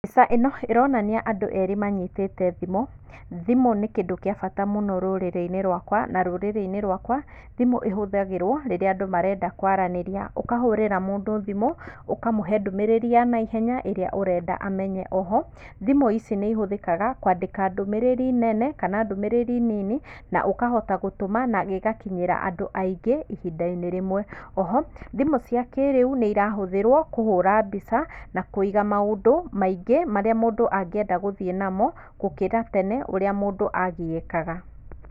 Mbica ĩno ĩronania andũ erĩ manyitĩte thimũ, thimũ nĩ kĩndũ kĩa bata mũno rũrĩrĩinĩ rwaka na rũrĩrĩinĩ rwaka thimũ ĩhũthagĩrwo rĩrĩa andũ marenda kwaranĩria, ũkahũrĩra mũndũ thimũ, ũkamũhe ndũmĩrĩri ya naihenya ĩrĩa ũrenda amenye, oho thimũ ici nĩ ihũthĩkaga kwandĩka ndũmĩrĩri nene kana ndũmĩrĩri nini ũkahota gũtũma na gĩgakinyĩra andũ aingĩ ihindainĩ rĩmwe. Oho thimũ cia kĩrĩu nĩ irahũthĩrwa kũhũra mbica na kũiga maũndũ maingĩ marĩa mũndũ angĩenda gũthiĩ namo gũkĩra tene ũrĩa mũndũ agiĩkaga.